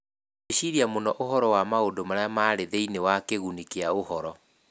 Gwĩciria mũno ũhoro wa maũndũ marĩa marĩ thĩinĩ wa kiguni kĩa ũhoro.